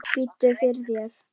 Biddu fyrir þér!